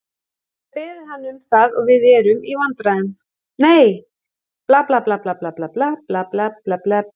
Við höfum beðið hann um það og við erum í viðræðum.